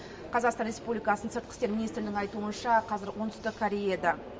қазақстан республикасының сыртқы істер министрлігінің айтуынша қазір оңтүстік кореяда